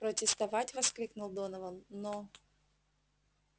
протестовать воскликнул донован но